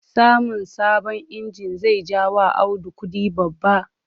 Samun sabon inji zai ja wa Audu kudi babba.